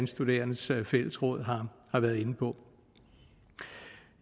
studerendes fællesråd har været inde på